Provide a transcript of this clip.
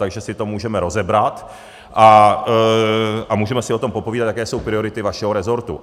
Takže si to můžeme rozebrat a můžeme si o tom popovídat, jaké jsou priority vašeho rezortu.